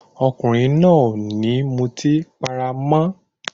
Ọkùnrin náà ò ní mutí para mọ́.